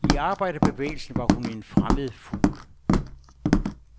I arbejderbevægelsen var hun en fremmed fugl.